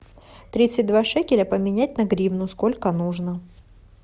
тридцать два шекеля поменять на гривну сколько нужно